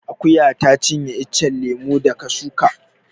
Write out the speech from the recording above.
Akuya ta cinye iccen lemo da ka suka